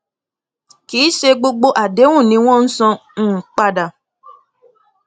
kì í ṣe gbogbo àdéhùn ni wọn san um padà